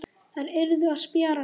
Þær yrðu að spjara sig.